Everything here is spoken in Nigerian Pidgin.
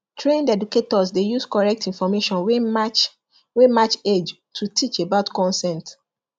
trained educators dey use correct information wey match wey match age to teach about consent